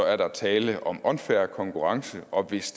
er der er tale om unfair konkurrence og hvis